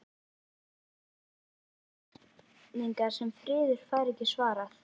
Stríðin spyrja spurninga sem friðurinn fær ekki svarað.